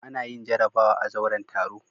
Ana yin jarabawa a zauren taro.